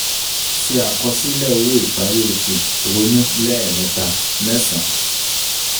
Se àkọsílẹ̀ owó ìparí oṣù, ronú ( lẹ́ẹ̀mẹta ) mẹ́san.